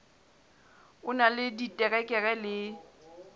o na le diterekere le